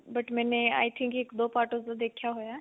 but ਮੈਨੇ i think ਇੱਕ ਦੋ part ਉਸਦਾ ਦੇਖਿਆ ਹੋਇਆ